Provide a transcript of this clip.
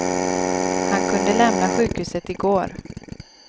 Han kunde lämna sjukhuset i går.